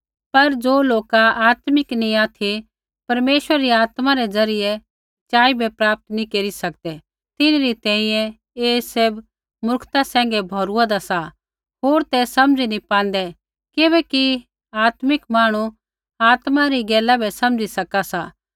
पर लोका ज़ो आत्मिक नैंई ऑथि परमेश्वर री आत्मा ज़रियै सच़ाई बै प्राप्त नैंई केरी सकदै तिन्हरी तैंईंयैं ऐ सैभ मूर्खता सैंघै भौरुआन्दा सा होर ते समझी नैंई पांदै किबैकि आत्मिक मांहणु आत्मा री गैला बै समझी सका सी